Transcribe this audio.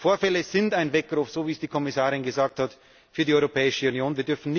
Die Vorfälle sind ein Weckruf, so wie es die Kommissarin gesagt hat, für die Europäische Union.